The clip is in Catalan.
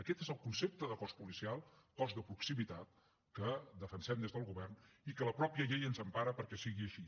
aquest és el concepte de cos policial cos de proximitat que defensem des del govern i que la mateixa llei ens empara perquè sigui així